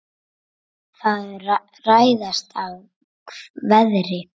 Það ræðst af veðri.